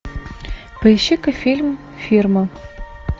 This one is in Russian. поищи ка фильм фирма